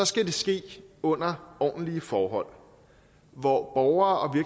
skal det ske under ordentlige forhold hvor borgere